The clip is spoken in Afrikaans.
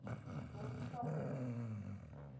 maatskaplike